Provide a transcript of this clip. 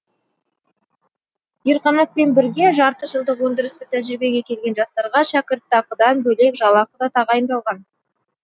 ерқанатпен бірге жарты жылдық өндірістік тәжірибеге келген жастарға шәкіртақыдан бөлек жалақы да тағайындалған